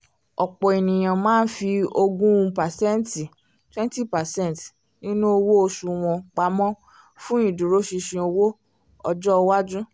ọ̀pọ̀ ènìyàn máa ń fi ogún pàséntì twenty percent nínú owó oṣù wọn pamọ́ fún ìdúróṣinṣin owó ọjọ́ iwájú